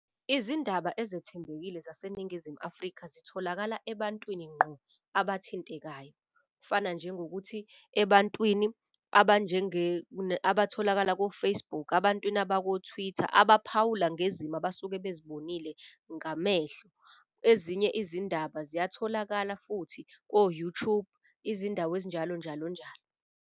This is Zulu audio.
Izindaba ezethembekile zaseNingizimu Afrika zitholakala ebantwini ngqo abathintekayo. Kufana njengokuthi ebantwini abatholakala ko-Facebook, abantwini abako-Twitter abaphawula ngezimo abasuke bezibonile ngamehlo. Ezinye izindaba ziyatholakala futhi ko-YouTube, izindawo ezinjalo, njalo njalo.